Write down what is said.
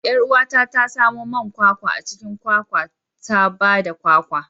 Yar uwata ta samo man kwakwa a cikin kwakwa ta ba da kwakwa.